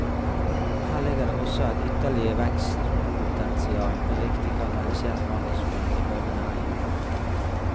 Her ligger det også et ytterligere vekstpotensial, med riktig kanalisert markedsføring, ifølge næringen.